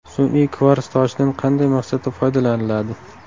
Sun’iy kvars toshidan qanday maqsadda foydalaniladi?